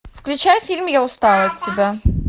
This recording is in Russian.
включай фильм я устала от тебя